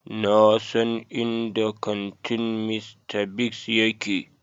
Na san inda kantin Mr. Biggs yake.